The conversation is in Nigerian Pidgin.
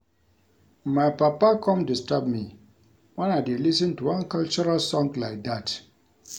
My papa come disturb me wen I dey lis ten to one cultural song like dat